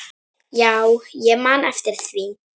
Já, ég man eftir því.